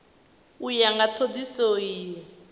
u ya nga thodisiso iyi